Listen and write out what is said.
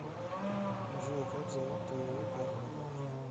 джой как зовут твоего парня